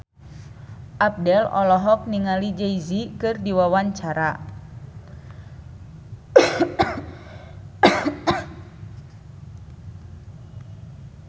Abdel olohok ningali Jay Z keur diwawancara